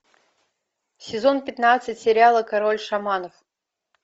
сезон пятнадцать сериала король шаманов